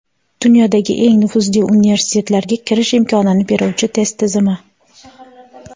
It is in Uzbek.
Dunyodagi eng nufuzli universitetlarga kirish imkonini beruvchi test tizimi.